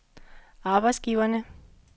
arbejdsgiverne